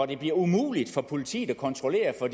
det bliver umuligt for politiet at kontrollere for